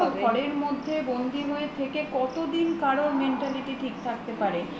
আর বদ্ধ ঘরের মধ্যে বন্দী হয়ে থেকে কতদিন কারোর mentality ঠিক থাকতে পারে